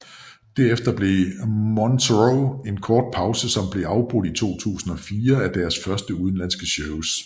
Derefter holdt Moonsorrow en kort pause som blev afbrudt i 2004 af deres første udenlandske shows